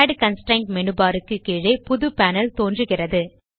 add constraint menu bar க்கு கீழே புது பேனல் தோன்றுகிறது